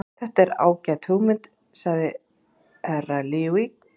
Þetta er ágæt hugmynd, sagði Herra Luigi.